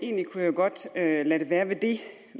egentlig kunne jeg godt lade det være ved det